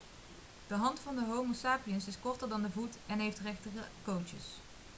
de hand van homo sapiens is korter dan de voet en heeft rechtere kootjes